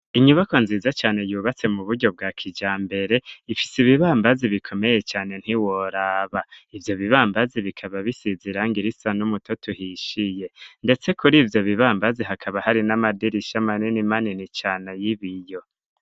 Inyubakwa nziza cane, yubatse mu buryo bwa kijambere; ifise ibibambazi bikomeye cane, ntiworaba; ivyo bibambazi, bikaba bisize irangi risa n'umutoto uhishiye, ndetse kuri ivyo bibambazi, hakaba hari n'amadirisha, manini manini cane, y'ibiyo.